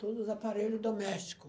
Todos os aparelho doméstico.